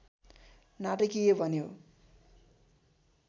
नाटकीय बन्यो